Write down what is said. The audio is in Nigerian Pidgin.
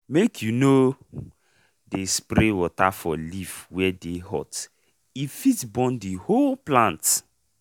make u no dey spray water for leaf wey dey hot e fit burn the whole plant.